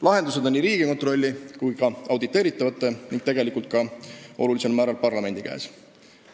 Lahendused on Riigikontrolli ja ka auditeeritavate, tegelikult suurel määral ka parlamendi käes.